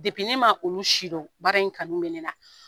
ne ma olu si dɔn, baara in kanu bɛ ne na.